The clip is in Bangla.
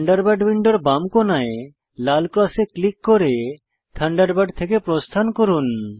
থান্ডারবার্ড উইন্ডোর বাম কোনায় লাল ক্রসে ক্লিক করে থান্ডারবার্ড থেকে প্রস্থান করুন